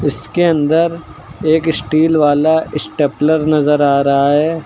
इसके अंदर एक स्टील वाला स्टेपलर नजर आ रहा है।